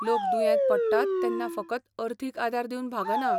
लोक दुयेंत पडटात तेन्ना फकत अर्थीक आदार दिवन भागना .